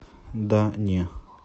да не